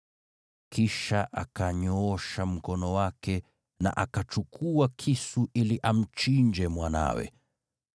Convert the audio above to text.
Kisha akanyoosha mkono wake na akachukua kisu ili amchinje mwanawe.